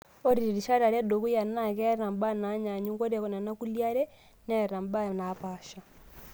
Ore rishat are edukuya naa keeta mbaa naanyanyuk, na ore kulie are neeta mbaa naapasha.